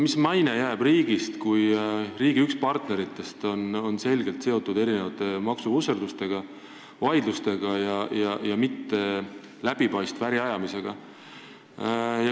Mis maine jääb riigist, kui riigi üks partneritest on selgelt seotud mingite maksuvusserduste ja -vaidlustega, mitte läbipaistva äri ajamisega?